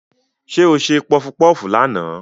Ṣé o ṣe pọfupọ́fù lánàá?